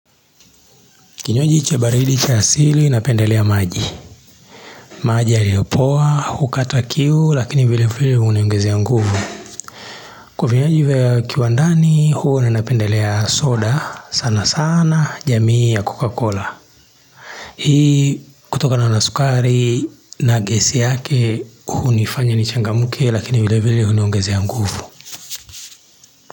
Kinywaji cha baridi cha asili napendelea maji. Maji yaliopoa, hukata kiu, lakini vile vile huongeza nguvu. Kwa vinywaji vya kiwandani, huwa napendelea soda, sana sana, jamii ya Coca-Cola. Hii, kutoka na nasukari na gesi yake, hu nifanya ni changamuke, lakini vile vile huniongezea nguvu.